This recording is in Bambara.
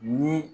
Ni